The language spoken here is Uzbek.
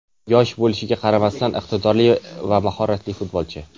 Yosh bo‘lishiga qaramasdan iqtidorli va mahoratli futbolchi.